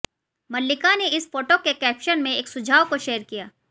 मल्लिका ने इस फोटो के कैप्शन में एक सुझाव को शेयर किया